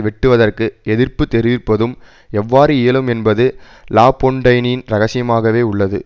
வெட்டுவதற்கு எதிர்ப்பு தெரிவிப்பதும் எவ்வாறு இயலும் என்பது லாபொன்டைனின் இரகசியமாகவே உள்ளது